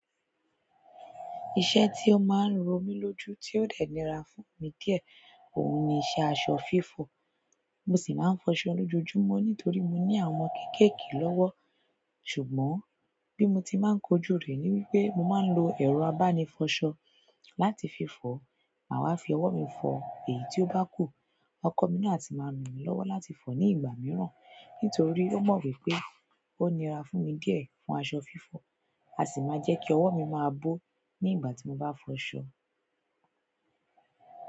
Iṣẹ́ tí ó máa ń ró mi lójú tí ó dẹ̀ níra fún mi díẹ̀, òun ni iṣẹ́ aṣọ fífọ̀. Mo sì máa ń fọṣọ lójoojúmọ́ nítorí mo ní àwọn ọmọ kéékèèké lọ́wọ́. Ṣùgbọ́n bí mo tí máa ń kojú rẹ̀ ni wípé mo máa ń lo ẹ̀rọ abánifọṣọ láti fi fọ, maa wa fi ọwọ́ mi fọ. Èyí tí ó bá kù, ọkọ mi náà si máa ń rànmí lọ́wọ́ láti fọ ní ìgbà mìíràn nítorí ó mọ̀ wípé ó nira fún mi díẹ̀ fún aṣọ fífọ̀. A sì máa jẹ́ kí ọwọ́ mi máa bó ní ìgbà tí mo bá fọṣọ.